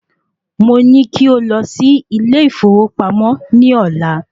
Mo ní kí ó lọ sí ilé ìfowópamọ́ ní ọ̀la